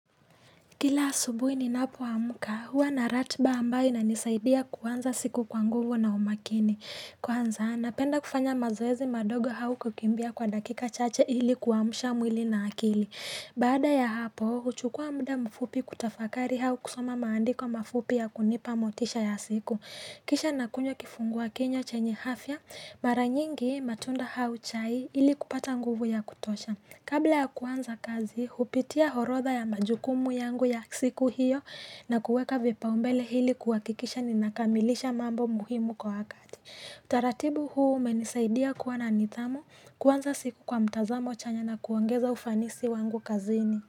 Kila asubui ninapo amka, huwa naratba ambayo na nisaidia kuanza siku kwa nguvu na umakini. Kwanza, napenda kufanya mazoezi madogo hau kukimbia kwa dakika chache ili kuamusha mwili na akili. Bada ya hapo, huchukua mda mfupi kutafakari au kusoma maandiko mafupi ya kunipa motisha ya siku. Kisha nakunywa kifungua kinywa chenye hafya, maranyingi matunda hau chai ili kupata nguvu ya kutosha. Kabla ya kuanza kazi, upitia orodha ya majukumu yangu ya siku hiyo na kuweka vipaombele hili kuhakikisha ninakamilisha mambo muhimu kwa wakati. Utaratibu huu umenisaidia kuwa na nithamu kuaanza siku kwa mtazamo chanya na kuongeza ufanisi wangu kazini.